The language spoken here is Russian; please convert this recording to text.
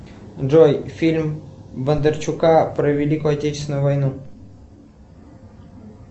джой фильм бондарчука про великую отечественную войну